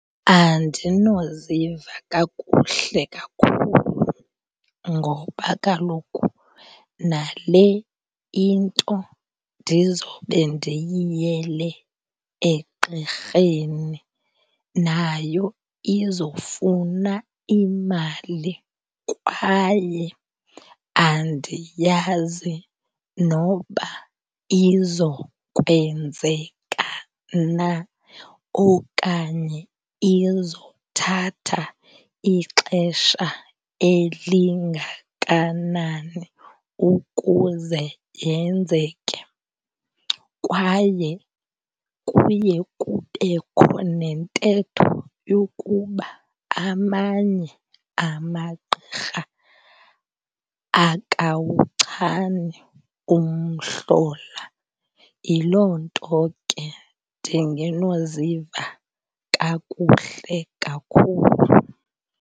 Andinoziva kakuhle kakhulu ngoba kaloku nale into ndizobe ndiyiyele egqirheni nayo izofuna imali kwaye andiyazi noba izokwenzeka na okanye izothatha ixesha elingakanani ukuze yenzeke. Kwaye kuye kubekho nentetho yokuba amanye amagqirha akawuchani umhlola. Yiloo nto ke ndingenoziva kakuhle kakhulu.